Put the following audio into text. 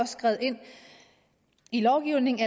skrevet ind i lovgivningen